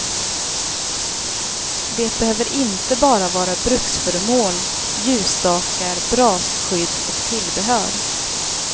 Det behöver inte bara vara bruksföremål, ljusstakar, brasskydd och tillbehör.